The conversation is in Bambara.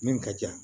Min ka di yan